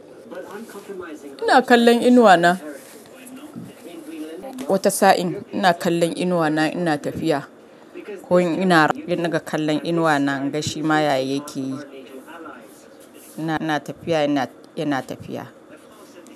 Ina kallon inuwa na. Wata sa'in ina kallon inuwa na ina tafiya. Ko in ina ruga, sai in dinga kallon inuwa na in ga shi ma ya yake yi. Ina, ina tafiya yana, yana tafiya.